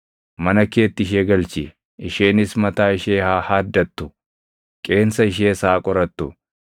Mana keetti ishee galchi; isheenis mataa ishee haa haaddattu; qeensa ishees haa qorattu;